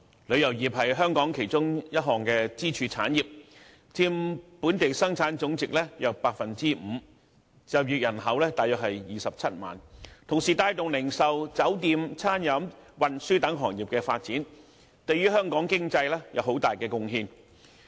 旅遊業是香港其中一項支柱產業，佔本地生產總值約 5%， 就業人口約為27萬；旅遊業同時亦帶動零售、酒店、餐飲和運輸等行業的發展，對香港經濟有很大貢獻。